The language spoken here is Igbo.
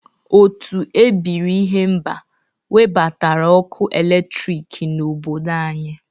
Otu ebiri ihemba nwebatara ọkụ eletriki n'obodo anyị.